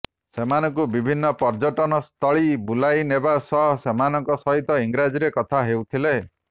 ସେମାନଙ୍କୁ ବିଭିନ୍ନ ପର୍ଯ୍ୟଟନସ୍ଥଳୀ ବୁଲାଇନେବା ସହ ସେମାନଙ୍କ ସହିତ ଇଂରାଜୀରେ କଥା ହେଉଥିଲେ